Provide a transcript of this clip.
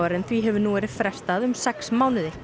en því hefur nú verið frestað um sex mánuði